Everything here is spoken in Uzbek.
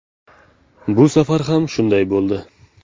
Bu safar ham shunday bo‘ldi.